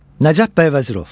Nəcəf bəy Vəzirov.